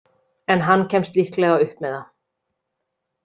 En hann kemst líklega upp með það.